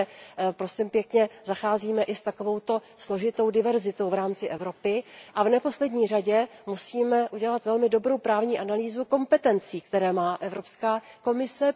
Takže zacházíme i s takovouto složitou diverzitou v rámci Evropy a v neposlední řadě musíme udělat velmi dobrou právní analýzu kompetencí, které má Evropská komise.